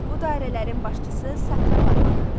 Bu dairələrin başçısı Satrap adlanırdı.